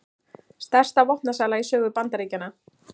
Stærsta vopnasala í sögu Bandaríkjanna